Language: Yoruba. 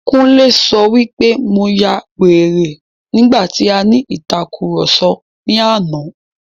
Kúnlé sọ wí pé mo ya wèrè nígbà tí a ní ìtàkurọ̀sọ ní àná.